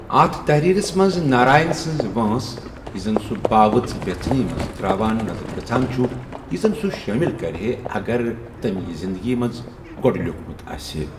اتھ تحریرس منز ناراین سٕنز وٲنٚس ، یہِ زن سوُ بإوٕژ ویژھنیہِ منز ترٚاوان نظرِ گژھان چھُ ، یہِ زن سوُ شٲمِل کرِہے اگر تمہِ یہِ زِندگی منز گوٚڈٕ لِیوُکھمُت آسِہے۔